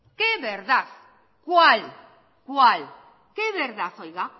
qué verdad cuál cuál qué verdad oiga